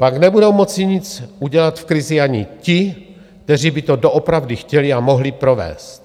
Pak nebudou moci nic udělat v krizi ani ti, kteří by to doopravdy chtěli a mohli provést.